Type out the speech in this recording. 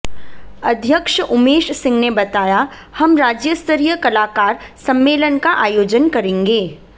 अध्यक्ष उमेश सिंह ने बताया हम राज्य स्तरीय कलाकार सम्मेलन का आयोजन करेंगे